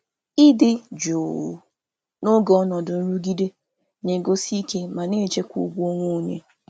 Ịnọgide na-enwe jụụ n’oge ọnọdụ nwere nchekasị na-egosi ike ma na-echekwa ugwu onwe onye.